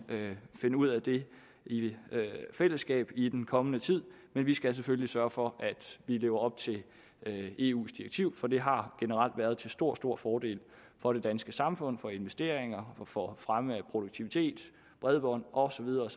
finde ud af det i fællesskab i den kommende tid men vi skal selvfølgelig sørge for at vi lever op til eus direktiv for det har generelt været til stor stor fordel for det danske samfund for investeringer og for fremme af produktivitet bredbånd og så videre og